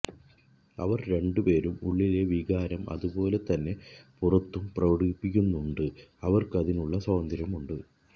അവർ രണ്ടുപേരും ഉള്ളിലെ വികാരം അതേപോലെതന്നെ പുറത്തും പ്രകടിപ്പിക്കുന്നുണ്ട് അവർക്ക് അതിനുള്ള സ്വാതന്ത്ര്യമുണ്ട്